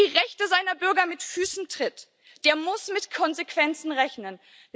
Wer die Rechte seiner Bürger mit Füßen tritt, der muss mit Konsequenzen rechnen.